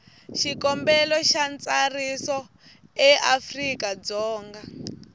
xikombelo xa ntsariso eafrika dzonga